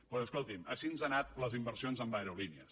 doncs escolti’m així ens han anat les inversions en aerolínees